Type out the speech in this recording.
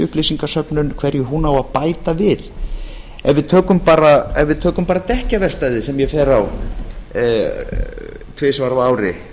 upplýsingasöfnun á að bæta við ef við tökum bara dekkjaverkstæðið sem ég fer á tvisvar á ári